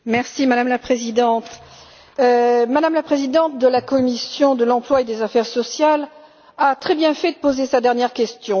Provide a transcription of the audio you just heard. Madame la Présidente, Mme la présidente de la commission de l'emploi et des affaires sociales a très bien fait de poser sa dernière question.